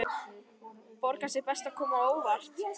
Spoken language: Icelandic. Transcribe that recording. Borgar sig best að koma á óvart.